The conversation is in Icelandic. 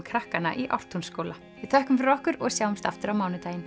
krakkanna í Ártúnsskóla við þökkum fyrir okkur og sjáumst aftur á mánudaginn